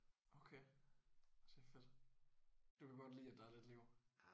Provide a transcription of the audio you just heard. Okay. Det er fedt. Du kan godt lide at der er lidt liv?